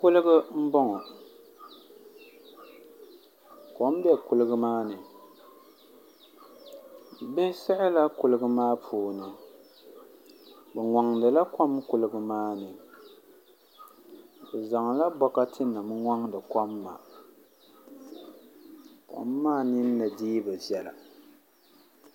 Kuligi n boŋo kom bɛ kuligi maa ni bihi siɣila kuligi maa puuni bi ŋoŋdila kom kuligi maa ni bi zaŋla bokati nim ŋoŋdi kom maa kom maa ninni dii bi viɛla